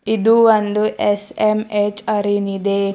ಇದು ಒಂದು S M H ಅರೆನ್ ಇದೆ.